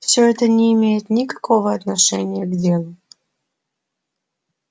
всё это не имеет никакого отношения к делу